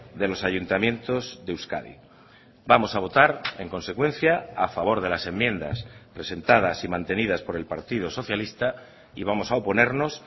de los ayuntamientos de euskadi vamos a votar en consecuencia a favor de las enmiendas presentadas y mantenidas por el partido socialista y vamos a oponernos